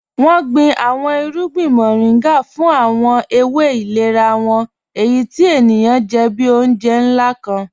Wọn gbìn àwọn ìrùgbìn Mọ̀rìngà fún àwọn èwé ìlẹ̀rà wọn, èyí tí ènìyàn jẹ́ bí ọ̀unjẹ̀ nlá kàn.